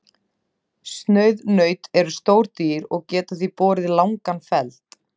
Sauðnaut eru stór dýr og geta því borið langan feld.